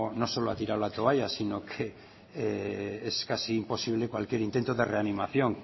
no solo ha tirado la toalla sino que es casi imposible cualquier intento de reanimación